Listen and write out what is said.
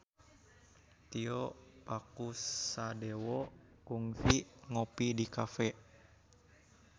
Tio Pakusadewo kungsi ngopi di cafe